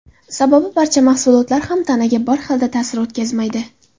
Sababi barcha mahsulotlar ham tanaga bir xilda ta’sir o‘tkazmaydi.